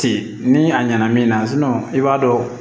Ten ni a ɲɛna min na i b'a dɔn